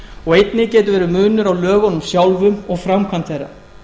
og einnig getur verið munur á lögunum sjálfum og framkvæmd þeirra